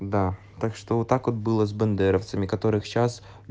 да так что вот так вот было с бандеровцами которых сейчас